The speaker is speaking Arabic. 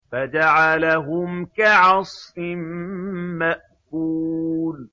فَجَعَلَهُمْ كَعَصْفٍ مَّأْكُولٍ